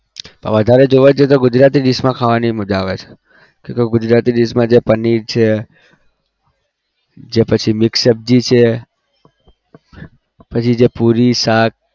પણ વધારે જોવા જઈએ તો ગુજરાતી dish માં ખાવાની મજા આવે છે. કેમ કે ગુજરાતી dish મા પનીર છે, જે પછી mix સબ્જી છે પછી જે પૂરી શાક